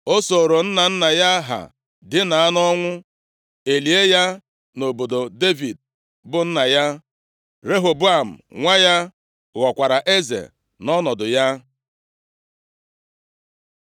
O sooro nna nna ya ha dina nʼọnwụ. E lie ya nʼobodo Devid bụ nna ya. Rehoboam nwa ya ghọkwara eze nʼọnọdụ ya.